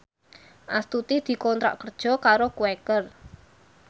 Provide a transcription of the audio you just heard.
Astuti dikontrak kerja karo Quaker